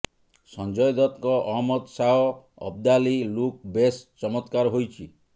ସଞ୍ଜୟ ଦତ୍ତଙ୍କ ଅହମ୍ମଦ ଶାହ ଅବ୍ଦାଲୀ ଲୁକ୍ ବେଶ୍ ଚମତ୍କାର ହୋଇଛି